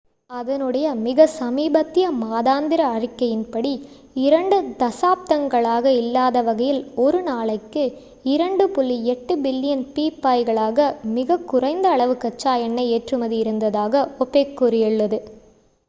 அதனுடைய மிக சமீபத்திய மாதாந்திர அறிக்கையின்படி இரண்டு தசாப்தங்களாக இல்லாதவகையில் ஒரு நாளைக்கு 2.8 பில்லியன் பீப்பாய்களாக மிக குறைந்த அளவு கச்சா எண்ணெய் ஏற்றுமதி இருந்ததாக ஒபேக் கூறியது